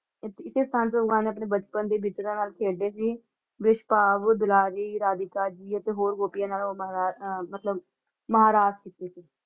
ਇਸ~ਇਸੇ ਸਥਾਨ ਤੇ ਭਗਵਾਨ ਨੇ ਆਪਣੇ ਬਚਪਨ ਦੇ ਵਿਚ ਖੇਡੇ ਸੀ । ਵਿਸ਼ਬਾਵ, ਦੁਲਾਰੀ, ਰਾਧਿਕਾ ਜੀ ਅਤੇ ਹੋਰ ਗੋਪੀਆਂ ਨਾਲੋਂ ਮਾ~ ਮਤਲਬ ਕੀਤੇ ਸੀ।